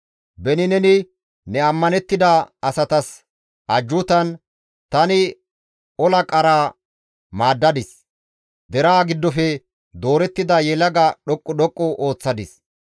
Beni neni ne ammanettida asatas ajjuutan, «Tani ola qaraa maaddadis; deraa giddofe doorettida yelaga dhoqqu dhoqqu histtadis.